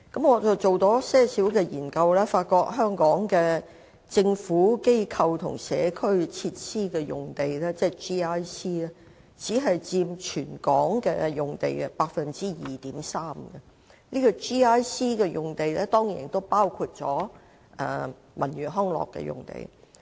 我也作了一些研究，發現香港的"政府、機構或社區"用地僅佔全港用地 2.3%， 而 GIC 用地亦包括了文娛康樂用地。